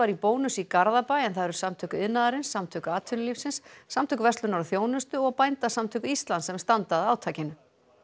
í Bónus í Garðabæ en það eru Samtök iðnaðarins Samtök atvinnulífsins Samtök verslunar og þjónustu og Bændasamtök Íslands sem standa að átakinu